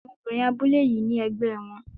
Àwọn obìnrin abúlé yìí ní ẹgbẹ́ wọn.